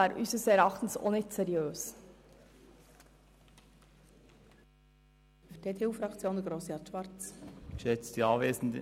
Dies wäre nicht angemessen und unseres Erachtens auch nicht seriös.